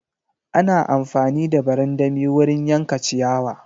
Ana amfani da barandami wurin yanka ciyawa.